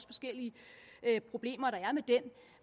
forskellige problemer der er